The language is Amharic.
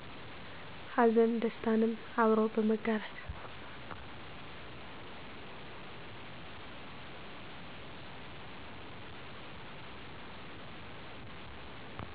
ሀዘን ደስታንም አብሮ በመጋራት